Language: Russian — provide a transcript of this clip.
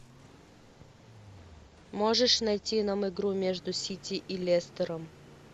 можешь найти нам игру между сити и лестером